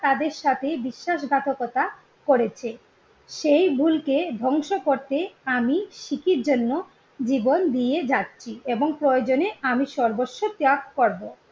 তাদের সাথে বিশ্বাস ঘাতকতা করেছে। সেই ভুলকে ধ্বংস করতে আমি সিকির জন্য জীবন দিয়ে যাচ্ছি এবং প্রয়োজনে আমি সর্বস্ব ত্যাগ করবো।